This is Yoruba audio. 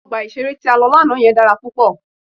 Ọgbà ìṣeré tí a lọ lánàá yẹn dára púpọ̀.